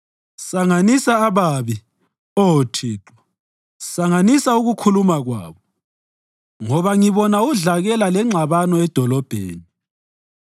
Sanganisa ababi, Oh Thixo, sanganisa ukukhuluma kwabo, ngoba ngibona udlakela lengxabano edolobheni.